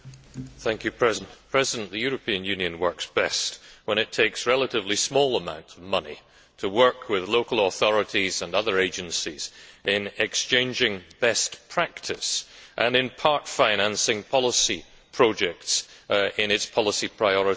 Madam President, the European Union works best when it takes relatively small amounts of money to work with local authorities and other agencies in exchanging best practice and in part financing policy projects in its policy priority areas.